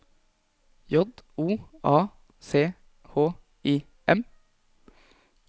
J O A C H I M